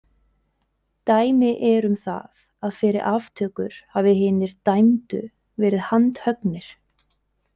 Dæmi eru um það að fyrir aftökur hafi hinir dæmdu verið handhöggnir.